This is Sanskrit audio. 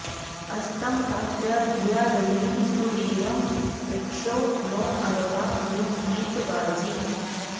अस्तं॑ ता॒त्या धि॒या र॒यिं सु॒वीरं॑ पृ॒क्षो नो॒ अर्वा॒ न्यु॑हीत वा॒जी